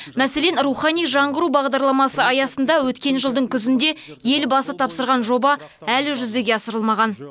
мәселен рухани жаңғыру бағдарламасы аясында өткен жылдың күзінде елбасы тапсырған жоба әлі жүзеге асырылмаған